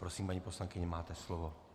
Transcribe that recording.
Prosím, paní poslankyně, máte slovo.